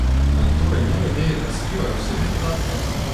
Ali torej nevede razkrivajo osebne podatke?